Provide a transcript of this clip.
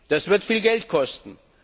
Das wird viel Geld kosten.